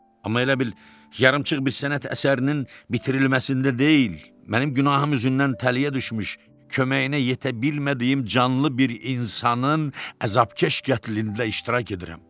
Amma elə bil yarımçıq bir sənət əsərinin bitirilməsində deyil, mənim günahım üzündən tələyə düşmüş, köməyinə yetə bilmədiyim canlı bir insanın əzabkeş qətlində iştirak edirəm.